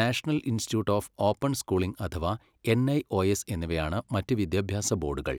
National institute of open schooling അഥവാ NIOS എന്നിവയാണ് മറ്റ് വിദ്യാഭ്യാസ ബോർഡുകൾ.